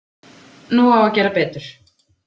Nú á að gera betur